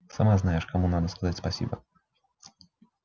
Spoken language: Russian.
сама знаешь кому надо сказать спасибо